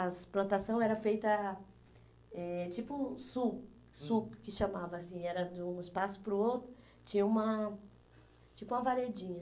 As plantação eram feita eh tipo sul, sul, que chamava assim, era de um espaço para o outro, tinha uma, tipo uma varedinha.